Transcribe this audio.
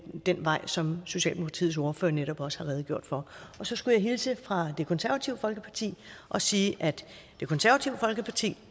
den vej som socialdemokratiets ordfører netop også har redegjort for så skulle jeg hilse fra det konservative folkeparti og sige at det konservative folkeparti